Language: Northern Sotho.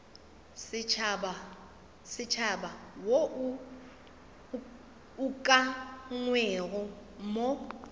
setšhaba wo o ukangwego mo